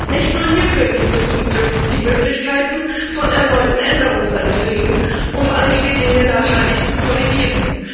Nicht nur hierfür gibt es zum Glück die Möglichkeit von erneuten Änderungsanträgen, um einige Dinge nachhaltig zu korrigieren.